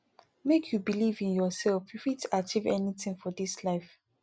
make you believe in yoursef you fit achieve anytin for dis life